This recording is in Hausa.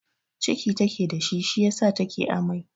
Ciki take da shi, shi yasa take amai.